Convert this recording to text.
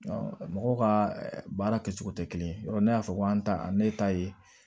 mɔgɔw ka baara kɛcogo tɛ kelen ye yɔrɔ ne y'a fɔ ko an ta ne ta ye